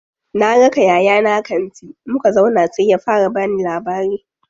Na raka yayana kanti, muka zauna sai ya fara bani labari.